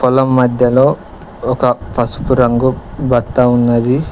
పొలం మధ్యలో ఒక పసుపు రంగు బత్త ఉన్నది.